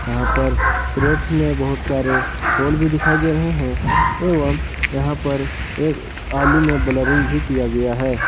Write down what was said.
यहां पर केरेट में बहुत सारे फूल भी दिखाई दे रहे हैं एवं यहां पर एक आलू में ब्लरिंग भी किया गया है।